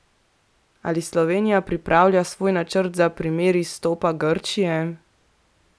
Ali Slovenija pripravlja svoj načrt za primer izstopa Grčije?